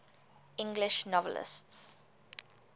english novelists